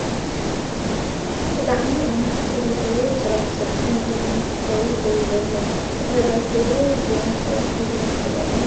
ብጣዕሚ ኣብ ምቾት ዘሎ ህበይ ጭራቱ ዘርጊሑ ንጎኒ ትጠውዩ ደው ኢሉ ኣሎ ። ድሕረ ባይትኡ ድም ከውሒ ዝመስል ኣእማን እዩ ።